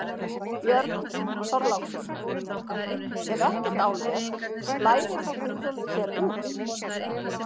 Björn Þorláksson: Ef ekkert álver, blæðir þá byggðunum hér út?